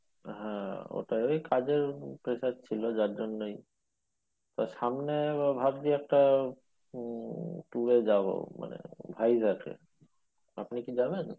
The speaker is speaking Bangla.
হম ওটাই কাজের pressure ছিল যার জন্যে তো সামনে ভাবছি একটা উম tour এ যাবো ভাইজ্যাগ এ আপনি কি যাবেন ?